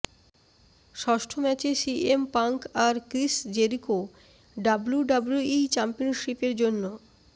ষষ্ট ম্যাচে CM Punk আর Chris Jericho WWE championship এর জন্য